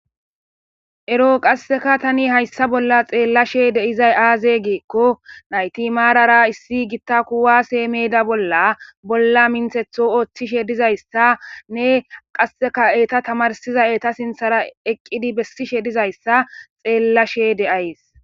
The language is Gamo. Ero qasseka tani hayssa bolla xeellashe deizay aaze geekko nayti maarara issi gitta kuwa seemeda bolla bolla minthetho ooththishe dizayssa nne qasseka eta tamarsiza eta sinthara eqqidi bessishe dizayssa xeellashe de7ays.